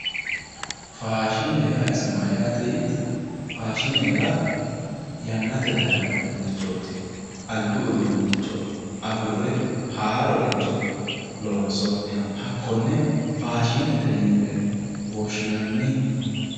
Faashine yaa isi mayyaate yiittoro faashinete yaa yannate dayeeno uduunnichooti haarore loonsoonniha hakkonne faashinete yine woshshinanni